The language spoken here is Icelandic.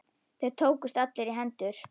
Þeir tókust allir í hendur.